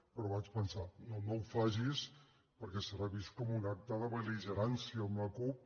però vaig pensar no no ho facis perquè serà vist com un acte de bel·ligerància amb la cup